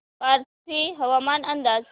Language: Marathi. पाथर्डी हवामान अंदाज